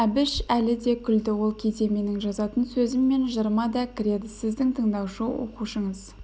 әбіш әлі де күлді ол кейде менің жазатын сөзім мен жырыма да кіреді сіздің тыңдаушы оқушыңыз